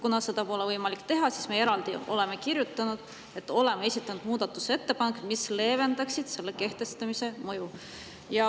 Kuna seda pole võimalik teha, siis me oleme eraldi kirjutanud, et me oleme esitanud muudatusettepanekud, mis leevendaksid selle kehtestamise mõju.